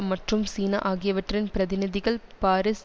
மற்றும் சீனா ஆகியவற்றின் பிரதிநிதிகள் பாரிஸ்